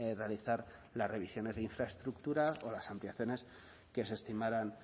realizar las revisiones de infraestructura o las ampliaciones que se estimaran